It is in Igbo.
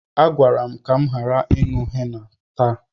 A gwara m ka m ghara ịṅụ henna taa.